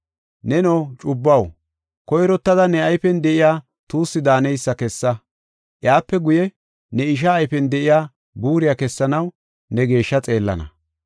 Neno cubbuwaw, koyrottada ne ayfen de7iya tuussi daaneysa kessa. Iyape guye, ne ishaa ayfen de7iya buuriya kessanaw ne geeshsha xeellana.